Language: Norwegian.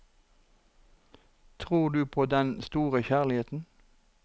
Tror du på den store kjærligheten?